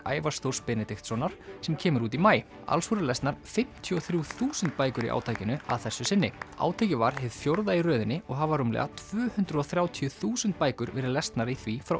Ævars Þórs Benediktssonar sem kemur út í maí alls voru lesnar fimmtíu og þrjú þúsund bækur í átakinu að þessu sinni átakið var hið fjórða í röðinni og hafa rúmlega tvö hundruð og þrjátíu þúsund bækur verið lesnar í því frá